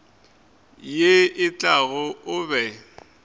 ye e tlago o be